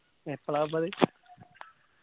എപ്പോളാ ഇപപ്പത്